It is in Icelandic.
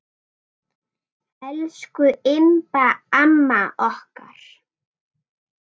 Elsku Imba amma okkar.